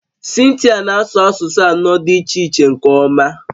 Cynthia na-asụ asụsụ anọ dị iche iche nke ọma